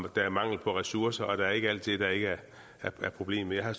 der er mangel på ressourcer og der er ikke alt det der ikke er problemet jeg har